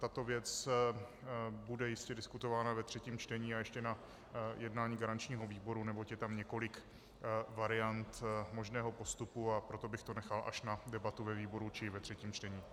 Tato věc bude jistě diskutována ve třetím čtení a ještě na jednání garančního výboru, neboť je tam několik variant možného postupu, a proto bych to nechal až na debatu ve výboru či ve třetím čtení.